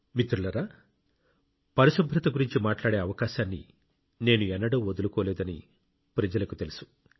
మిత్రులారా పరిశుభ్రత గురించి మాట్లాడే అవకాశాన్ని నేను ఎన్నడూ వదులుకోలేదని ప్రజలకు తెలుసు